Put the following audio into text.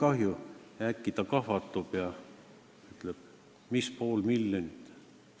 " Aga äkki ta kahvatus ja ütles: "Mis pool miljonit?